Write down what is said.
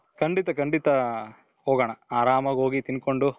ಖಂಡಿತ ಖಂಡಿತ ಹೋಗೋಣ ಆರಾಮಾಗಿ ಹೋಗಿ ತಿನ್ಕೊಂಡು